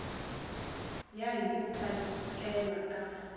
ya hi ku tsakela ka